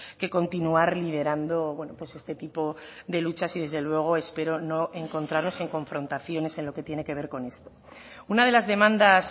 que continuar liderando este tipo de luchas y desde luego espero no encontraros en confrontaciones en lo que tiene que ver con esto una de las demandas